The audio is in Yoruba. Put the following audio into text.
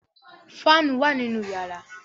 Fáànù wà nínú yàrá.